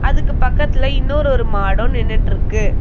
அதுக்கு பக்கத்துல இன்னொரு ஒரு மாடு நின்னுட்ருக்கு.